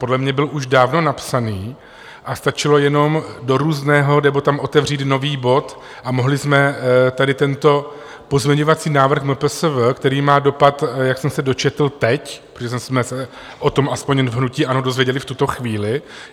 Podle mě byl už dávno napsaný a stačilo jenom do různého nebo tam otevřít nový bod a mohli jsme tady tento pozměňovací návrh MPSV, který má dopad, jak jsem se dočetl teď, protože jsme se o tom aspoň v hnutí ANO dozvěděli v tuto chvíli.